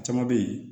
A caman bɛ ye